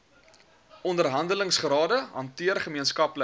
onderhandelingsrade hanteer gemeenskaplike